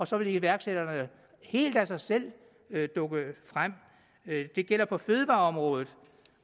så vil iværksætterne helt af sig selv dukke frem det gælder på fødevareområdet